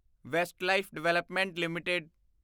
Westlife development LTD